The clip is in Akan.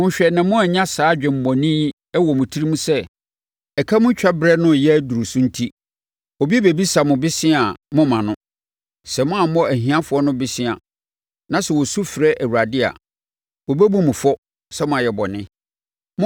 Monhwɛ na moannya saa adwemmɔne yi wɔ mo tirim sɛ ɛka mu twa berɛ no reyɛ aduru so enti, obi bɛbisa mo bosea a moremma no. Sɛ moammɔ ahiafoɔ no bosea na sɛ wɔsu frɛ Awurade a, wɔbɛbu mo fɔ sɛ moayɛ bɔne.